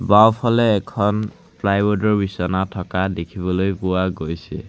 বাওঁফালে এখন প্লাইওড ৰ বিছনা থকা দেখিবলৈ পোৱা গৈছে।